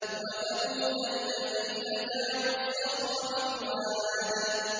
وَثَمُودَ الَّذِينَ جَابُوا الصَّخْرَ بِالْوَادِ